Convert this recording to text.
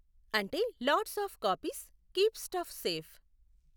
అంటే lots of copies, keep stuff safe.